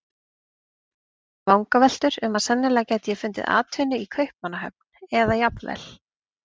Ég var með vangaveltur um að sennilega gæti ég fundið atvinnu í Kaupmannahöfn eða jafnvel